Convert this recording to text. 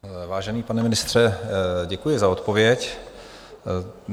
Vážený pane ministře, děkuji za odpověď.